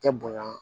Tɛ bonya